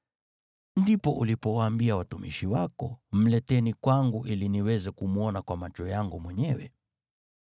“Ndipo ulipowaambia watumishi wako, ‘Mleteni kwangu ili niweze kumwona kwa macho yangu mwenyewe.’